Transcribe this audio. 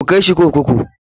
KU kai shi kurkuku!